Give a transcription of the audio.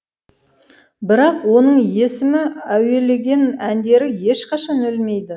бірақ оның есімі әуелеген әндері ешқашан өлмейді